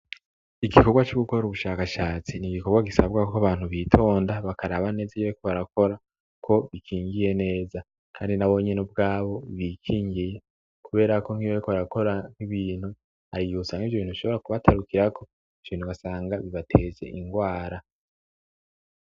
Igikorwa c'ugukora ubushakashatsi ni igikorwa gisabwa ko abantu bitonda bakaraba neza iyeko barakora ko bikingiye neza, kandi nabonyene ubwabo bikingiye kuberako nk'iwewe ko arakora nk'ibintu ariyousanga ivyo ibitu shobora kubatarukirako ibintubasanga bibateze ingwara.